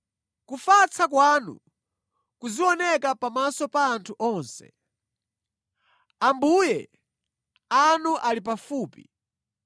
Kufatsa kwanu kuzioneka pamaso pa anthu onse. Ambuye anu ali pafupi.